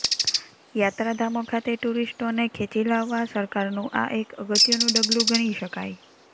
યાત્રાધામો ખાતે ટુરીસ્ટોને ખેંચી લાવવા સરકારનું આ એક અગત્યનું ડગલુ ગણી શકાય